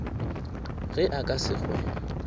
ge a ka se hwe